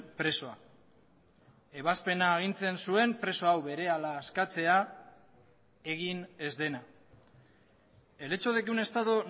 presoa ebazpena agintzen zuen preso hau berehala askatzea egin ez dena el hecho de que un estado